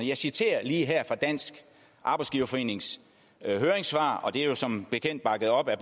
jeg citerer lige her fra dansk arbejdsgiverforenings høringssvar og det er jo som bekendt bakket op af